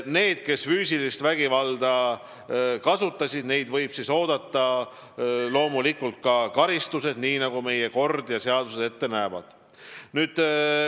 Neid, kes füüsilist vägivalda kasutasid, võib loomulikult oodata karistus, nii nagu meie kord ja seadused ette näevad.